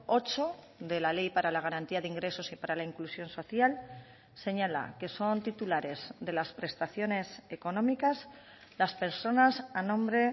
ocho de la ley para la garantía de ingresos y para la inclusión social señala que son titulares de las prestaciones económicas las personas a nombre